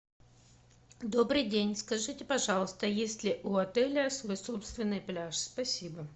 добрый день скажите пожалуйста есть ли у отеля свой собственный пляж спасибо